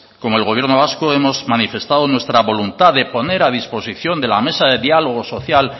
como el gobierno vasco hemos manifestado nuestra voluntad de poner a disposición de la mesa de diálogo social